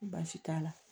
Ko baasi t'a la